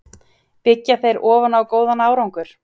Byggja þeir ofan á góðan árangur?